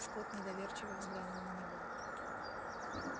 скотт недоверчиво взглянул на него